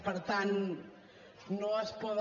per tant no es poden